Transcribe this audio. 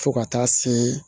Fo ka taa se